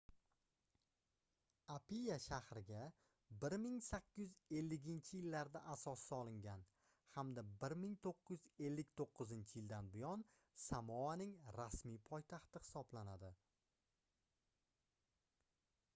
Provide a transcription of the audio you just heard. apia shahriga 1850-yillarda asos solingan hamda 1959-yildan buyon samoaning rasmiy poytaxti hisoblanadi